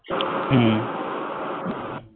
হম